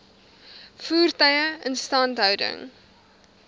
voertuie instandhouding